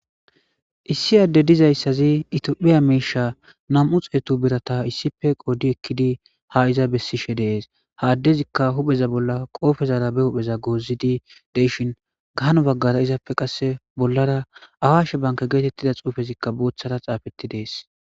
issi adde dizayssazi itophiya miisha nam7u xeetu birata issife qoodi ekkidi ha iza bessishe dees haaddezikka hupheza bolla qoofezara be hupheza goozidi deyshin gahano baggara izappe qasse bollara awashe banka geetettida xuufezikka booththara xaafetti dees